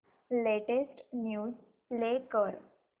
latest news play कर